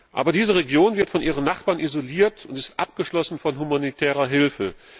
Aber diese Region wird von ihren Nachbarn isoliert und ist abgeschlossen von humanitärer Hilfe.